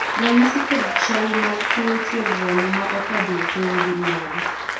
ranyisi kod chal mag tuo chuer remo ma okadho tong' gin mage?